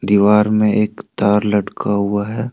दीवार में एक तार लटका हुआ है।